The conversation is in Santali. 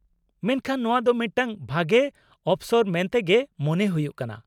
-ᱢᱮᱱᱠᱷᱟᱱ ᱱᱚᱣᱟ ᱫᱚ ᱢᱤᱫᱴᱟᱝ ᱵᱷᱟᱜᱮ ᱚᱯᱥᱚᱨ ᱢᱮᱱᱛᱮᱜᱮ ᱢᱚᱱᱮ ᱦᱩᱭᱩᱜ ᱠᱟᱱᱟ ᱾